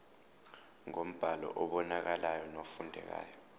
ngombhalo obonakalayo nofundekayo